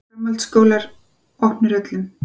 Framhaldsskólar opnir öllum